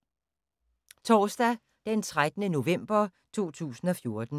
Torsdag d. 13. november 2014